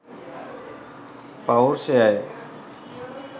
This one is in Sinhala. පෞර්ෂයයි.